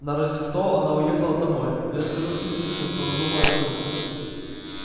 на рождество она уехала домой но я скажу слизеринцам что надумала вернуться